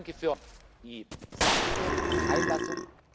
ein. Ich danke für die sachliche Einlassung.